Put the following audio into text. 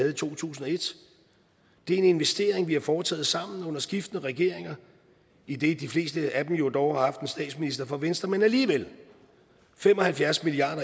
i to tusind og et det er en investering vi har foretaget sammen under skiftende regeringer idet de fleste af dem jo dog har haft en statsminister fra venstre men alligevel fem og halvfjerds milliard